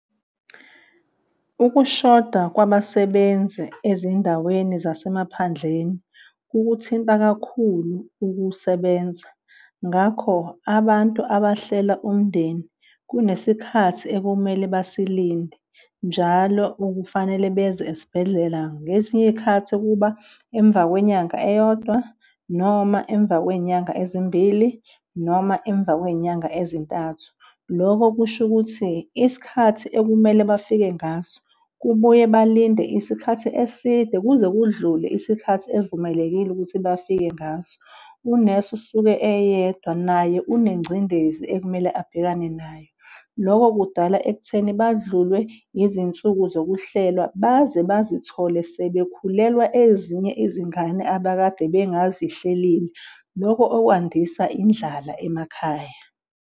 Ukushoda kwabasebenzi ezindaweni zasemaphandleni kukuthinta kakhulu ukusebenza, ngakho abantu abahlela umndeni kunesikhathi ekumele basilinde njalo okufanele beze esibhedlela. Ngezinye iyikhathi kuba emva kwenyanga eyodwa noma emva kweyinyanga ezimbili noma emva kweyinyanga ezintathu. Loko kusho ukuthi isikhathi ekumele bafike ngaso kubuye balinde isikhathi eside kuze kudlule isikhathi evumelekile ukuthi bafike ngaso. Unesi usuke eyedwa naye unengcindezi ekumele abhekane nayo. Loko kudala ekutheni badlulwe izinsuku zokuhlela baze bazithole sebekhulelwa ezinye izingane abakade bengazihlelile loko okwandisa indlala emakhaya.